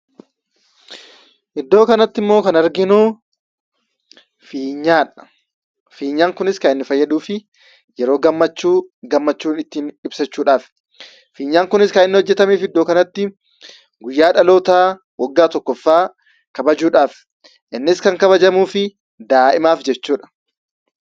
Iddoo kanatti ammoo kan arginu fiinyaadha. Fiinyaan kunis kan inni fayyaduuf yeroo gammachuu gammachuu keenya itti ibsachuudhaafi. Fiinyaan kunis kan inni hojjetameef iddoo kanatti guyyaa dhaloota waggaa tokkoffaa kabajuudhaafi. Innis kan inni kabajamuuf daa'imaaf jechuudha.